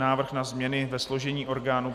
Návrh na změny ve složení orgánů